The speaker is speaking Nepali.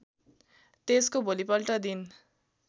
त्यसको भोलिपल्ट दिन